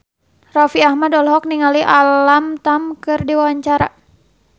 Raffi Ahmad olohok ningali Alam Tam keur diwawancara